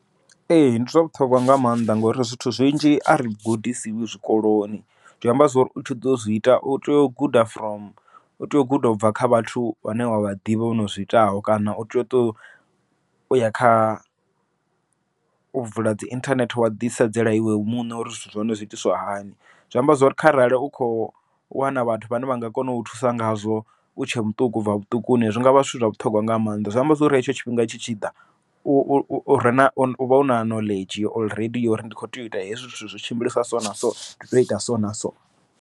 Ee ndi zwa vhuṱhogwa nga maanḓa ngori zwithu zwinzhi a ri gudisiwi zwikoloni, zwi amba zwori u tshi ḓo zwi ita u tea u guda from u tea u guda ubva kha vhathu vhane wavha ḓivha vhono zwiitaho, kana u tea u tea u ya kha u vula dzi inthanethe wa ḓi sedzela iwe muṋe, uri zwithu zwa hone zwi itiswa hani. Zwi amba zwori kharali u kho wana vhathu vhane vha nga kona u thusa ngazwo u tshe muṱuku, ubva vhuṱukuni zwi ngavha zwithu zwa vhuṱhogwa nga maanḓa, zwi amba zwori hetsho tshifhinga tshi tshi ḓa uvha una knowledge uri uri ndi kho tea u ita hezwi zwithu zwi tshimbilisa so na so ndi tea u ita so na so.